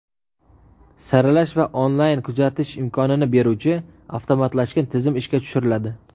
saralash va onlayn kuzatish imkonini beruvchi avtomatlashgan tizim ishga tushiriladi.